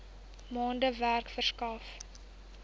maande werk verskaf